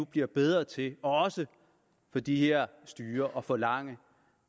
bliver bedre til også af de her styrer at forlange